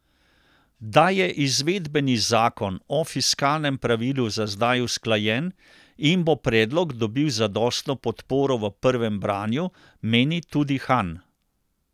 Da je izvedbeni zakon o fiskalnem pravilu za zdaj usklajen in bo predlog dobil zadostno podporo v prvem branju, meni tudi Han.